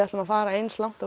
ætli að fara eins langt